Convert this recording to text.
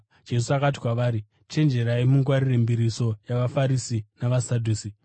Jesu akati kwavari, “Chenjerai mungwarire mbiriso yavaFarisi navaSadhusi.”